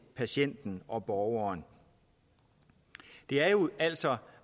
patienten og borgeren det er jo altså